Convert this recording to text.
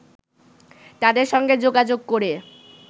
তাদের সঙ্গে যোগাযোগ করে